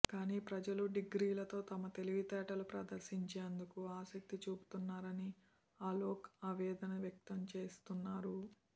కానీ ప్రజలు డిగ్రీలతో తమ తెలివితేటలు ప్రదర్శించేందుకే ఆసక్తి చూపిస్తున్నారని అలోక్ ఆవేదన వ్యక్తంచేస్తున్నారు